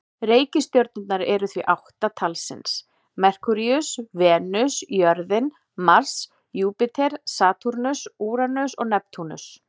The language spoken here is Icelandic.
Reikistjörnurnar eru því átta talsins: Merkúríus, Venus, jörðin, Mars, Júpíter, Satúrnus, Úranus og Neptúnus.